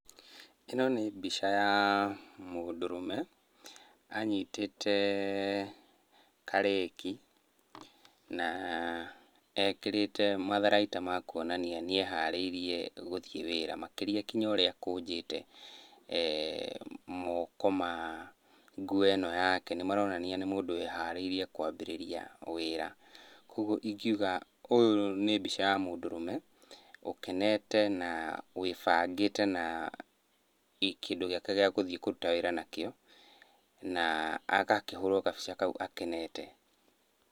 Ĩno nĩ mbica ya mũndũrũme anyitĩte karĩki na ekĩrĩte matharaita ma kuonania nĩeharĩirie gũthiĩ wĩra, makĩria kinya ũrĩa akũnjĩte moko ma nguo ĩno yake nĩmarionania nĩ mũndũ wĩharĩirie kwabĩrĩria wĩra. Kuoguo ingiuga ũyũ nĩ mbica ya mũndũrũme, ũkenete na wĩbangĩte na kĩndũ gĩake gĩa gũthiĩ kũruta wĩra nakĩo na agakĩhũrwo gabica kau akenete.